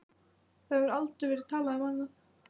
Það hefur aldrei verið talað um annað!